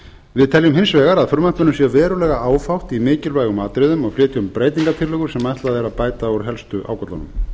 við teljum hins vegar að frumvarpinu sé verulega áfátt í mikilvægum atriðum og flytjum breytingartillögur sem ætlað er að bæta úr helstu ágöllunum